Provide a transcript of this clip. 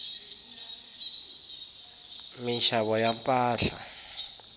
minxavo ya mpahla